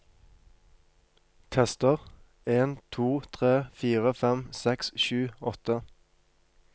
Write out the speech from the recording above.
Tester en to tre fire fem seks sju åtte